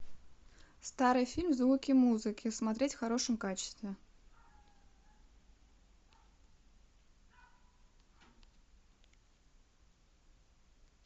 старый фильм звуки музыки смотреть в хорошем качестве